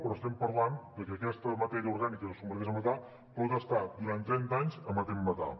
però estem parlant de que aquesta matèria orgànica que es converteix en metà pot estar durant trenta anys emetent metà